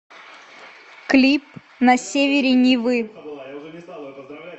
клип на севере невы